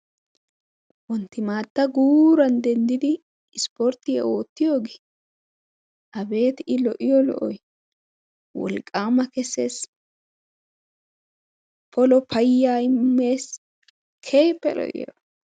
wontimaatta guuran denddidi isporttiyaa oottiyoogee abeeti i lo'iyo lo'ees, wolqaama kessees, polo payyaa immees, keehippe lo'iyaaba